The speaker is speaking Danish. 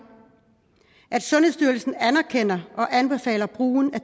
sundhedsstyrelsen anerkender og anbefaler brugen af